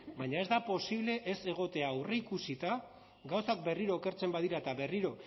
baina ez da posible ez egotea aurreikusita gauzak berriro okertzen badira eta berriro